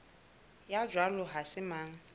ya jwalo ha se mang